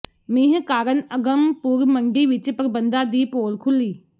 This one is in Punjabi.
ਮੀਂਹ ਕਾਰਨ ਅਗੰਮਪੁਰ ਮੰਡੀ ਵਿੱਚ ਪ੍ਰਬੰਧਾਂ ਦੀ ਪੋਲ ਖੁੱਲੀ